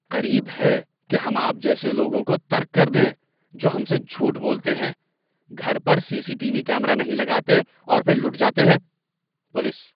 قریب ہے کہ ہم آپ جیسے لوگوں کو ترک کر دیں جو ہم سے جھوٹ بولتے ہیں، گھر پر C C T V camera نہیں لگاتے اور پھر لٹ جاتے ہیں۔ (پولیس)